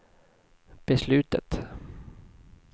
beslutet